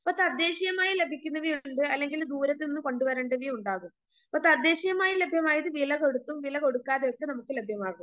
ഇപ്പ തദ്ദേശീയമായി ലഭിക്കുന്നവ ഉണ്ട് അല്ലെങ്കിൽ ദൂരത്തുനിന്ന് കൊണ്ടുവരേണ്ടവ ഉണ്ടാകും ഇപ്പ തദ്ദേശീയമായി ലഭ്യമായത് വിലകൊടുത്തും വില കൊടുക്കാതെയുമൊക്കെ നമുക്ക് ലഭ്യമാകും.